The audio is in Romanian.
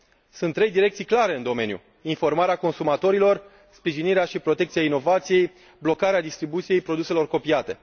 Sunt trei direcții clare în domeniu informarea consumatorilor, sprijinirea și protecția inovației, blocarea distribuției produselor copiate.